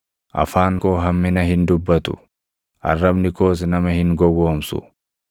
afaan koo hammina hin dubbatu; arrabni koos nama hin gowwoomsu.